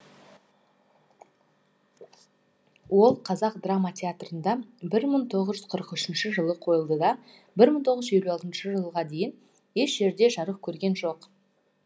ол қазақ драма театрында бір мың тоғыз жүз қырық үшінші жылы қойылды да бір мың тоғыз жүз елу алтыншы жылға дейін еш жерде жарық көрген жоқ